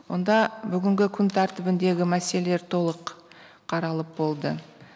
онда бүгінгі күн тәртібіндегі мәселелер толық қаралып болды